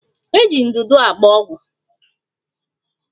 Eji ndụdụ agba ọgwụ